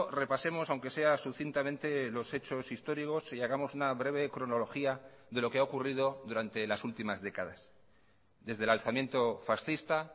repasemos aunque sea sucintamente los hechos históricos y hagamos una breve cronología de lo que ha ocurrido durante las últimas décadas desde el alzamiento fascista